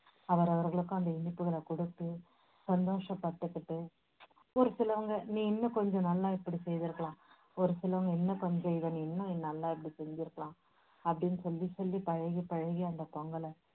அவரவர்களுக்கும் அந்த இனிப்புகளை கொடுத்து சந்தோஷப்பட்டுகிட்டு, ஒரு சிலவங்க நீ இன்னும் கொஞ்சம் நல்லா இப்படி செய்திருக்கலாம், ஒரு சிலவங்க இன்னும் கொஞ்சம் இதை நீ நல்லா இப்படி செஞ்சுருக்கலாம். அப்படின்னு சொல்லி சொல்லி பழகி பழகி அந்த பொங்கலை